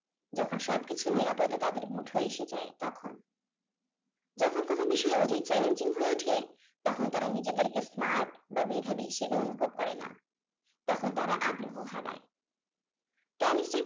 যখন সবকিছু নিরাপদে তাদের মুঠোয় এসে যায় তখন। যখন কোন বিষয় অধিক challenging হয়ে ওঠে তখন তারা নিজেদেরকে smart বা মেধাবী হিসেবে অনুভব করে না। তখন তারা আগ্রহ হারায়।